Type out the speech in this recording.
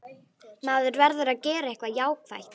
Maður verður að gera eitthvað jákvætt.